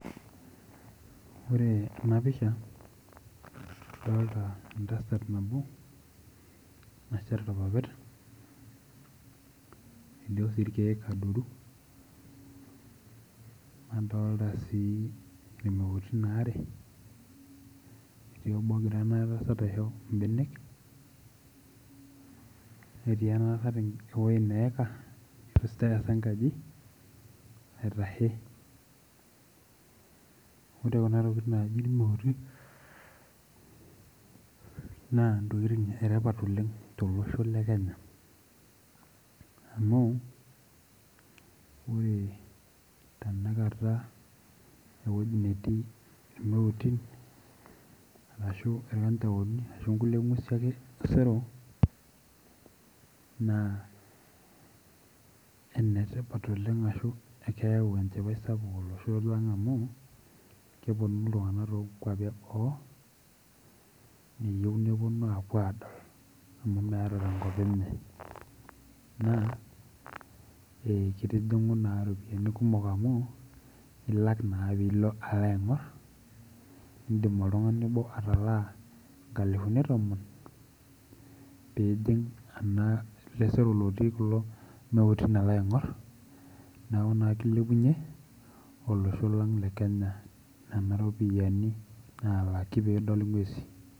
Ore enapisha adolta entasat nano nasheta irpapit elio si irpapit adoru adolta si irmejti are etii ono ogira enatasat aisho mbenek netii enatasat ewoi neika aitashe ore kunatokitin naji irmeuti na ntokitin etipat oleng tolosho le Kenya amu ore tanakata ewoi netii irmeuti ashu irkanjaoni ashu nkulie ngwesuiiosero na enetipat oleng ashu keyau enchipaj sapuk olosho lang amukeponu ltunganak tonkwapi enoo eyieu neponu adol amu meeta tenkop enye na kitijingu ropiyani kumok amu ilak na pilo aingir idim oltungani obo atalaa nkalifuni tomon pining eleseri ormeuti alo adol neaku na kilepunye olosho lang le kenya nona ropiyani.